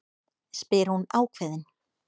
spyr hún ákveðin.